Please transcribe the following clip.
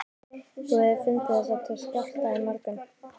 Þú hefur fundið þessa tvo skjálfta í morgun?